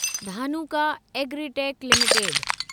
Dhanuka Agritech limited